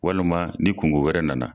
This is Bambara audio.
Walima ni kungo wɛrɛ na na.